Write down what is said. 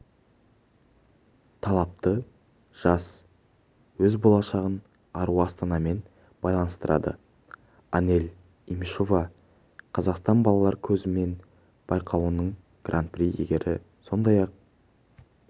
талапты жас өз болашағын ару астанамен байланыстырады анель имишова қазақстан балалар көзімен байқауының гран-при иегері сондай-ақ